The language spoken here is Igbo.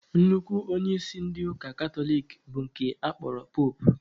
Nnukwu onyeisi ndị ụka katọlik bụ nke a kpọrọ poopụ